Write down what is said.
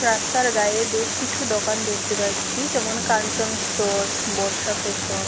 রাস্তার গায়ে বেশ কিছু দোকান দেখতে পাচ্ছি। যেমন কাঞ্চন স্টোর্স বর্ষা ফ্যাশন ।